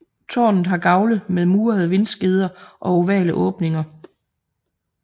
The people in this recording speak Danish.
Tårnet har gavle med murede vindskeder og ovale åbninger